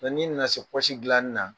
Nka n'i nana se pɔsi dilani na